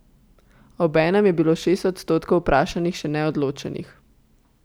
A obenem je bilo šest odstotkov vprašanih še neodločenih.